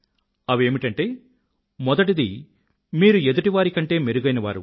అవేమిటంటే మొదటిది మీరు ఎదుటివారి కంటే మెరుగైనవారు